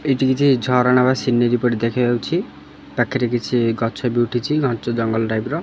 ଏଇଟି କିଛି ଝରଣା ବା ସିନେରି ପରି ଦେଖାଯାଉଛି ପାଖରେ କିଛି ଗଛ ବି ଉଠିଛି ଘଞ୍ଚ ଜଙ୍ଗଲ ଟାଇପ୍ ର।